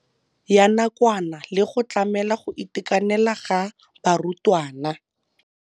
Ya nakwana le go tlamela go itekanela ga barutwana.